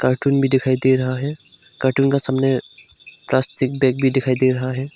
Cartoon भी दिखाई दे रहा है कार्टून का समने प्लास्टिक बैग भी दिखाई दे रहा है।